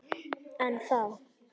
En þá!